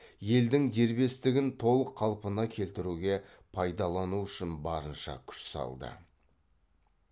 елдің дербестігін толық қалпына келтіруге пайдалану үшін барынша күш салды